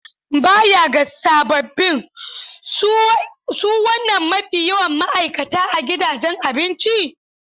Baya ga sabobin, su wanene mafi yawan ma'aikata a gidajen abinci?